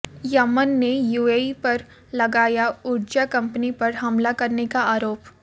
Yemen ने UAE पर लगाया ऊर्जा कंपनी पर हमला करने का आरोप